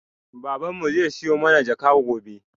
Baban mu zai siyo mana jaka gobe